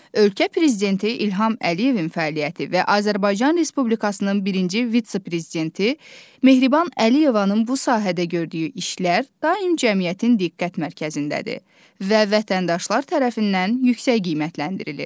Ölkə prezidenti İlham Əliyevin fəaliyyəti və Azərbaycan Respublikasının birinci vitse-prezidenti Mehriban Əliyevanın bu sahədə gördüyü işlər daim cəmiyyətin diqqət mərkəzindədir və vətəndaşlar tərəfindən yüksək qiymətləndirilir.